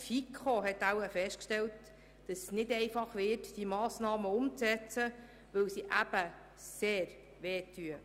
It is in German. Auch die FiKo hat wohl festgestellt, dass es nicht einfach würde, diese Massnahmen umzusetzen, weil sie sehr einschneidend wären.